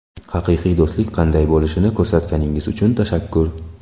Haqiqiy do‘stlik qanday bo‘lishini ko‘rsatganingiz uchun tashakkur”.